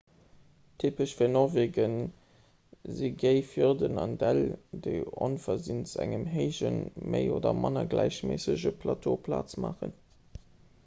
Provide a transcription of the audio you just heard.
typesch fir norwege si géi fjorden an däll déi onversinns engem héijen méi oder manner gläichméissege plateau plaz maachen